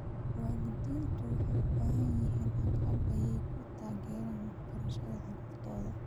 Waalidiintu waxay u baahan yihiin agab ay ku taageeraan waxbarashada carruurtooda.